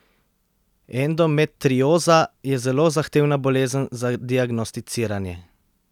Endometrioza je zelo zahtevna bolezen za diagnosticiranje.